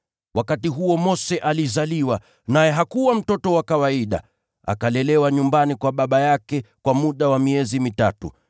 “Wakati huo Mose alizaliwa, naye hakuwa mtoto wa kawaida. Akalelewa nyumbani kwa baba yake kwa muda wa miezi mitatu.